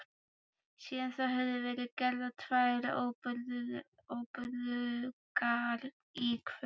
Síðan þá höfðu verið gerðar tvær óburðugar íkveikju